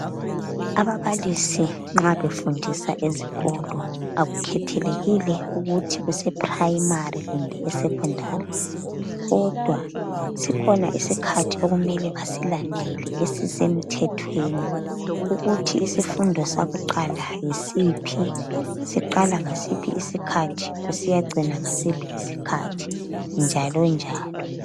Ababalisi nxa befundisa ezikolo akukhethelekile ukuthi use primary kumbe esecondary. Kodwa sikhona isikhathi okumele basilandele esisemthethweni ukuthi isifundo sakuqala yisiphi ? Siqala ngasiphi isikhathi kusiyacina ngasiphi isikhathi , njalonjalo.